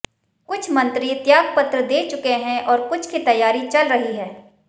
कई मंत्री त्याग पत्र दे चुके हैं और कुछ की तैयारी चल रही है